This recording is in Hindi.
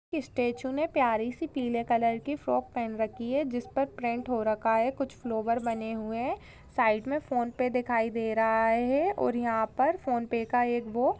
इस स्टेच्यु ने प्यारी सी पीले कलर की फ्रॉक पहन रखी है जिस पर प्रिंट हो रखा है कुछ फ्लॉवर बने हुए है साइड में फोन पे दिखाई दे रहा है और यहा पर फोन पे का एक वो--